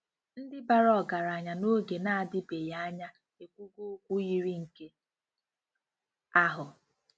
Ndị bàrà ọgaranya n'oge na-adịbeghị anya ekwugo okwu yiri nke ahụ.